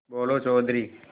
बोलो चौधरी